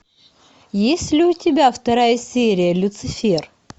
есть ли у тебя вторая серия люцифер